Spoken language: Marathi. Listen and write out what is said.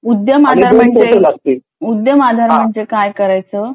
उद्यम आधार म्हणजे उद्यम आधार म्हणजे काय करायचं?